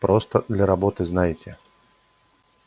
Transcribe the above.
просто для работы знаете